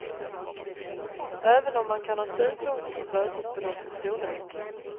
Även om man kan ha synpunkter på bötesbeloppets storlek.